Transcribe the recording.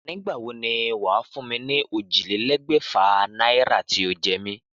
Nígbà wo ni wàá fún mi ni ójìlélégbèfà náírà tí o jé mi?